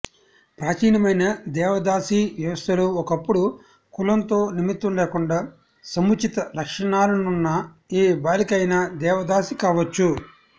ప్రాచీనమైన దేవదాసీ వ్యవస్థలో ఒకప్పుడు కులంతో నిమిత్తం లేకుండా సముచిత లక్షణాలున్న ఏ బాలిక అయిన దేవదాసి కావచ్చు